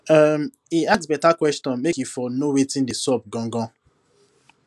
um e ask better questions make e for know wetin dey xup gangan